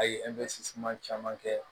A ye caman kɛ